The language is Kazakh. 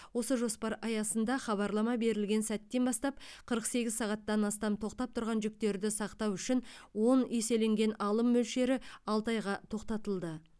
осы жоспар аясында хабарлама берілген сәттен бастап қырық сегіз сағаттан астам тоқтап тұрған жүктерді сақтау үшін он еселенген алым мөлшері алты айға тоқтатылды